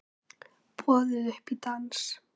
Boðið upp í dans